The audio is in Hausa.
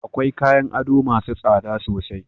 Akwai kayan ado masu tsada sosai